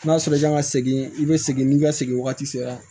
N'a sɔrɔ i kan ka segin i bɛ segin n'i ka segin wagati sera